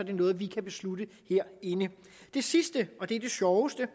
det noget vi kan beslutte herinde det sidste og det er det sjoveste